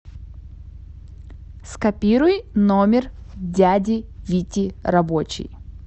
скопируй номер дяди вити рабочий